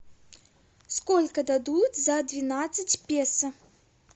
сколько дадут за двенадцать песо